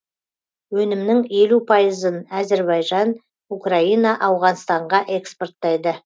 өнімнің елу пайызын әзербайжан украина ауғанстанға экспорттайды